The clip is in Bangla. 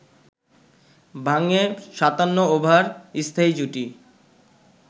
ভাঙে ৫৭ ওভার স্থায়ী জুটি